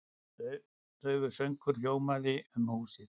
Daufur söngur hljómandi um húsið.